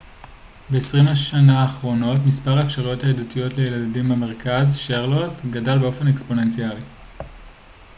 ב-20 השנה האחרונות מספר האפשרויות הידידותיות לילדים במרכז שרלוט גדל באופן אקספוננציאלי